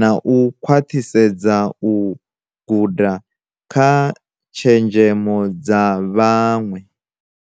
na u khwaṱhisedza u guda kha tshenzhemo dza vhaṅwe.